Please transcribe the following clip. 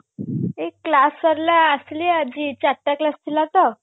ଏଇ class ସରିଲା ଆସିଲି ଆଜି ଚାରିଟା class ଥିଲା ତ